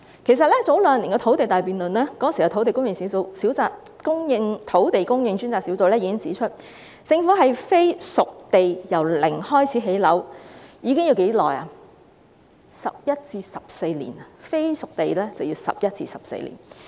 其實在兩年前的"土地大辯論"中，當時的土地供應專責小組已指出，政府使用"非熟地"由零開始興建房屋，需時11年至14年。